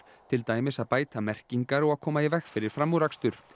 til dæmis að bæta merkingar og að koma í veg fyrir framúrakstur